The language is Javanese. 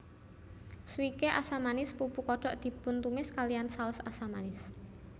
Swike asam manis pupu kodok dipuntumis kalihan saos asam manis